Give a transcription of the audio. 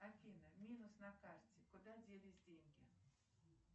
афина минус на карте куда делись деньги